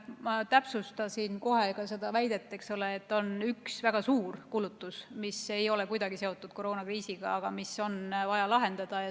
Ma kohe ka täpsustasin seda väidet, et on üks väga suur kulutus, mis ei ole kuidagi seotud koroonakriisiga, aga mis on vaja lahendada.